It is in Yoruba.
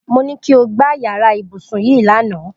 Mo ní kí o gbá yàrá ibùsùn yìí lánàá